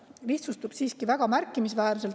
" Lihtsustub siiski väga märkimisväärselt.